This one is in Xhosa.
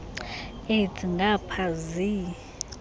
aids ngapha zii